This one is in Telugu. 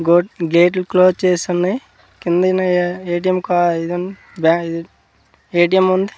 గో గేట్లు క్లోస్ చేసి ఉన్నాయ్ కింది ఉన్నాయా ఏ.టి.ఎం. కా ఇదుంది బ్యా ఇది ఏ.టి.ఎం. ఉంది.